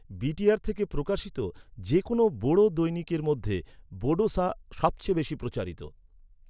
BTR থেকে প্রকাশিত যে কোনও বোড়ো দৈনিকের মধ্যে বোডোসা সবচেয়ে বেশি প্রচারিত।